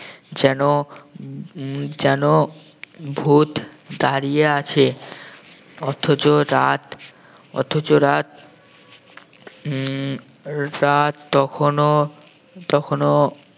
যেন উম যেন ভূত দাঁড়িয়ে আছে অথচ রাত অথচ রাত উম রাত তখনও তখনও